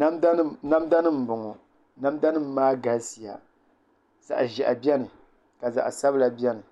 Namda nim n bɔŋɔ namda nim maa galisiya zaɣ ʒiɛhi biɛni ka zaɣ sabila biɛni